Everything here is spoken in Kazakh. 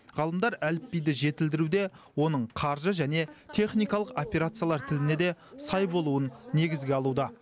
ғалымдар әліпбиді жетілдіруде оның қаржы және техникалық операциялар тіліне де сай болуын негізге алуда